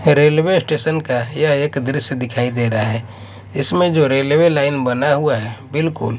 railway station का यह एक दृश्य दिखाई दे रहा है इसमें जो रेलवे लाइन बना हुआ है बिल्कुल--